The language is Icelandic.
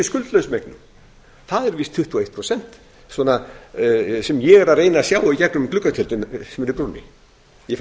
eignum það eru víst tuttugu og eitt prósent sem ég er að reyna að sjá í gegnum gluggatjöldin sem eru í brúnni ég fæ um